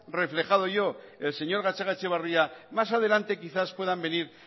reflejado yo el señor gatzagaetxebarria más adelante quizás puedan venir